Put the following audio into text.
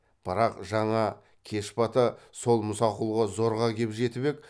бірақ жаңа кеш бата сол мұсақұлға зорға кеп жетіп ек